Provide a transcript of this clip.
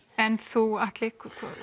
en þú Atli